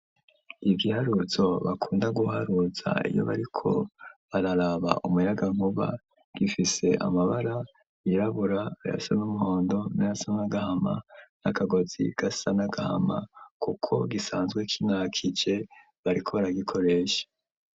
Ibiharuzo bakunda guharuza iyo bariko bararaba umuyagankuba. Gifise amabara irabura ayasa n'umuhondo n'aasa n'agahama n'akagozi gasa n'agahama kuko gisanzwe k'intakije bariko baragikoresha.